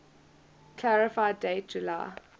clarify date july